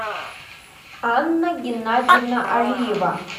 анна геннадьевна алиева